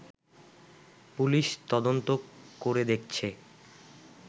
police তদন্ত করে দেখছে